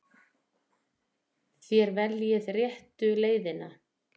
Þér veljið réttu leiðina.